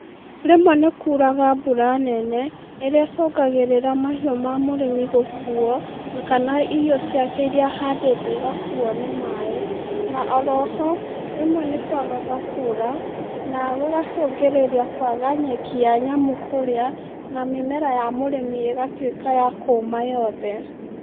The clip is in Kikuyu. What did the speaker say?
Rĩmwe nĩkuraga mbura nene, ĩrĩa ĩcũngagĩrĩra mahiũ ma mũrĩmi gũkuo, kana irio ciake iria ahandĩte igakuo nĩ maĩ, na oroho, rĩmwe nĩ kwagaga kura, na gũgacũngĩrĩria kwaga nyeki ya nyamũ kũrĩa na mĩmera ya mũrĩmi ĩgatwĩka ya kũma yothe.